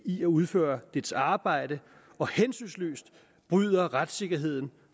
i at udføre dets arbejde og hensynsløst bryder retssikkerheden